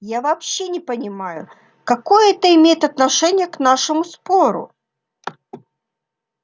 я вообще не понимаю какое это имеет отношение к нашему спору